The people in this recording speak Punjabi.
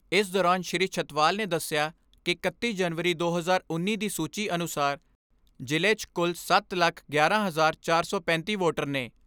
ਇਸ ਦੌਰਾਨ ਸ੍ਰੀ ਛੱਤਵਾਲ ਨੇ ਦਸਿਆ ਕਿ ਇਕੱਤੀ ਜਨਵਰੀ ਦੋ ਹਜ਼ਾਰ ਉੱਨੀ ਦੀ ਸੂਚੀ ਅਨੁਸਾਰ ਜ਼ਿਲ੍ਹੇ 'ਚ ਕੁੱਲ ਸੱਤ ਲੱਖ ਗਿਆਰਾਂ ਹਜ਼ਾਰ ਚਾਰ ਸੌ ਪੈਂਤੀ ਵੋਟਰ ਨੇ।